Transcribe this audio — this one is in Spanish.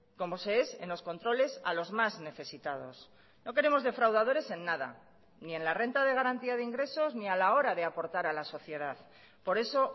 como se es en los controles a los más necesitados no queremos defraudadores en nada ni en la renta de garantía de ingresos ni a la hora de aportar a la sociedad por eso